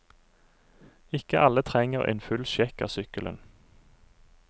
Ikke alle trenger en full sjekk av sykkelen.